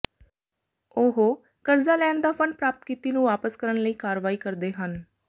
ਉਹ ਕਰਜ਼ਾ ਲੈਣ ਦਾ ਫੰਡ ਪ੍ਰਾਪਤ ਕੀਤੀ ਨੂੰ ਵਾਪਸ ਕਰਨ ਲਈ ਕਾਰਵਾਈ ਕਰਦੇ ਹਨ